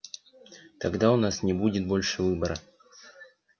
тогда у нас не будет больше выбора